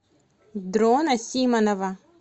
дрона симонова